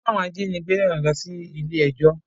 Wọ́n ti kó àwọn ajínigbé náà lọ sí ilé ẹjọ́